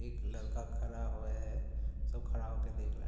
एक लड़का खड़ा हुए हैं। सब खड़ा होके देख रहा हैं।